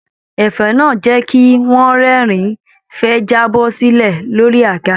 Ẹ̀fẹ̀ náà jẹ kí wọn rẹ́rìn fẹ ẹ jábọ́-sílẹ̀ lórí àga.